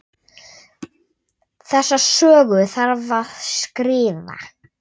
Þessa sögu þarf að skrifa.